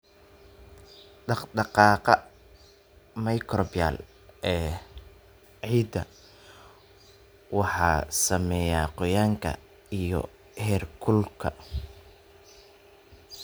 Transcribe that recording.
Dhaqdhaqaaqa microbial ee ciidda waxaa saameeya qoyaanka iyo heerkulka.